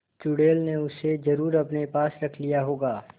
चुड़ैल ने उसे जरुर अपने पास रख लिया होगा